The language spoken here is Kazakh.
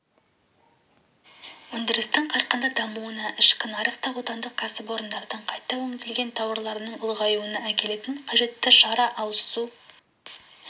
өндірістің қарқынды дамуына ішкі нарықта отандық кәсіпорындардың қайта өңделген тауарларының ұлғаюына әкелетін қажетті шара ауызсу